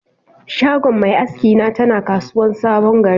Shagon mai aski na tana kasuwan sabon gari.